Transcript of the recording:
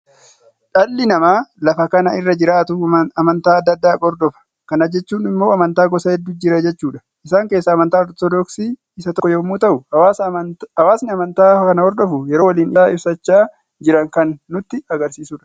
Dhall namaa lafa kana irra jiraatu amantaa adda addaa hodofa. Kana jechuun immoo amantaa gosa hedduu jira jechuudha. Isaan keessaa amantaa Ortodoksii isa tokko yommuu ta'u, hawaasni amantaa kana hordofu, yeroo waliin ibsaa ibsaachaa jiran kan nutti agarsiisudha.